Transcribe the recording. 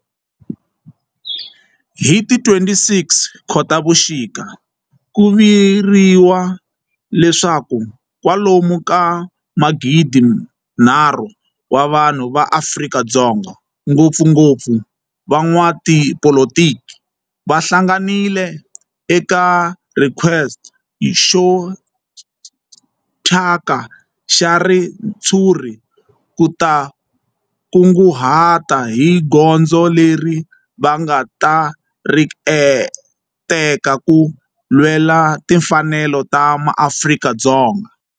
Hi ti 26 Khotavuxika ku vuriwa leswaku kwalomu ka magidi-nharhu wa vanhu va Afrika-Dzonga, ngopfungopfu van'watipolitiki va hlanganile eka square xo thyaka xa ritshuri ku ta kunguhata hi goza leri va nga ta ri teka ku lwela timfanelo ta maAfrika-Dzonga.